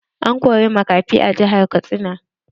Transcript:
An kori makafi a jihar Katsina.